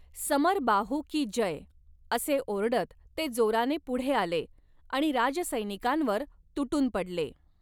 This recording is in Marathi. समरबाहू की जय! असे ओरडत ते जोराने पुढे आले आणि राजसैनिकांवर तुटून पडले.